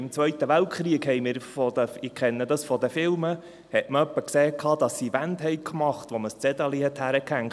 Im Zweiten Weltkrieg – ich kenne dies von den Filmen – sah man etwa, dass Wände gemacht wurden, an die man Zettel anschlug.